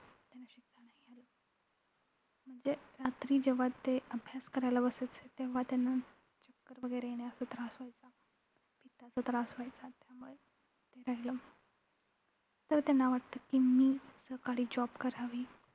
म्हणजे रात्री जेव्हा ते अभ्यास करायला बसायचे तेव्हा त्यांना चक्कर वैगेरे येणे असा त्रास व्हायचा. पित्ताचा त्रास व्हायचा त्यामुळे ते राहिलं तर त्यांना वाटत कि मी सकाळी job करावी.